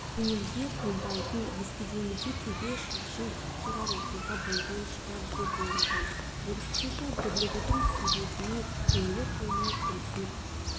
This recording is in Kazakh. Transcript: көңілге қонбайтын естігенде төбе шашың тік тұрар оқиға болған шығар деп ойлаған осынша дүрлігудің себебіне көңілі толмай қомсынып